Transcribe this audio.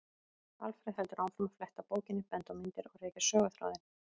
Alfreð heldur áfram að fletta bókinni, benda á myndir og rekja söguþráðinn.